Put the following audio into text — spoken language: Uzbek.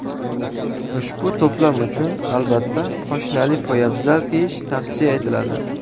Ushbu to‘plam uchun, albatta, poshnali poyabzal kiyish tavsiya etiladi.